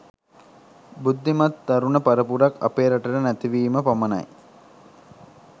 බුද්ධිමත් තරුණ පරපුරක් අපේ රටට නැතිවීම පමණයි.